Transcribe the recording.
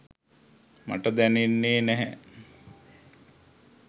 මට දැනෙන්නේ නැහැ.